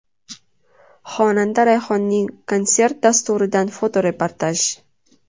Xonanda Rayhonning konsert dasturidan fotoreportaj.